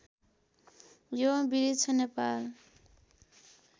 यो वृक्ष नेपाल